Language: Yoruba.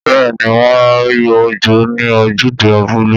Bẹ́ẹ̀ ni, wọn yóò jó ní ojúde abúlé.